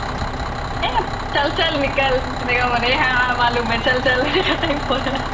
eh চল চল nikal এনেকুৱা মানে ha ha মালুম হে চল chal type ৰ